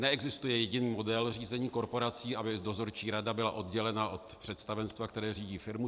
Neexistuje jediný model řízení korporací, aby dozorčí rada byla oddělena od představenstva, které řídí firmu.